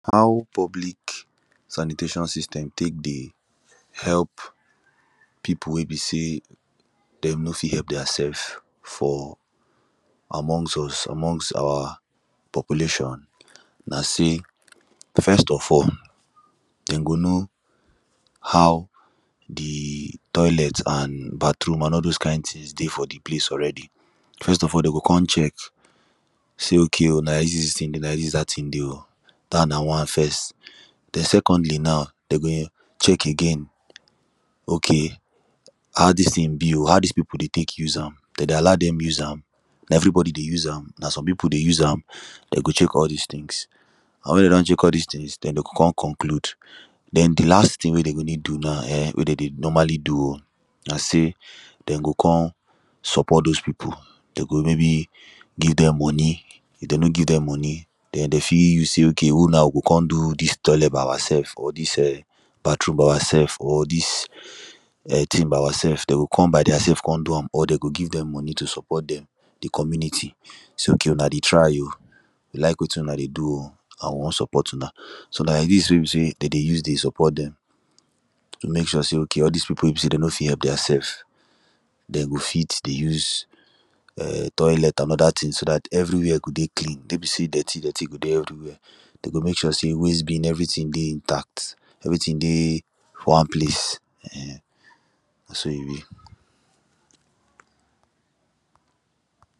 How public sanitation system tek dey help people wey be say them no fit help theirselves for amongst us, amongst our population Na say first of all, them go know how the toilet and bathroom, and all those kind things dey for the place already. First of all, them go come check say okay o, na lak dis thing be o, na lak dis dat thing dey o, dat na one first. Then, secondly now, them go um, check again, okay... how dis thing be o? How dis people dey tek use am? Them dey allow them use am? Na everybody dey use am? Na some people dey use am? Them go check all these things. And when they don check all these things, then, they go come conclude. Then, the last thing they go need do now, um wey them dey normally do o, na say, them go come support those people, them go maybe give them money. If them no give them money, then they fit use say ok we now go come do dis toilet by ourself for dis um, bathroom by ourself for dis um thing by ourself, them go come by theirself to come do am, or them go give them money to support them, the community, say okay o, una dey try o we lak wetin una dey do o, how we wan support una? so, lak dis wey be say, them dey use dey support them, mek sure say okay all these people wey be say them no fit help theirself, them go fit dey use um, toilet and other things, so dat everywhere go dey clean. No be say dirty, dirty go dey everywhere. Them go mek sure say wastebin, everything dey intact, everything dey one place, um Na so e be.